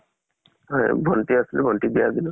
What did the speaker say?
হয় । ভন্টি আছিল । ভন্টি ক বিয়া দিলো ।